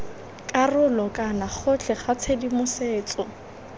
karolo kana gotlhe ga tshedimosetso